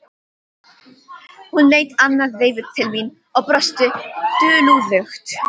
Hún leit annað veifið til mín og brosti dulúðugt.